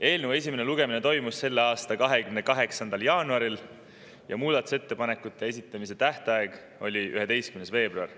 Eelnõu esimene lugemine toimus selle aasta 28. jaanuaril ja muudatusettepanekute esitamise tähtaeg oli 11. veebruar.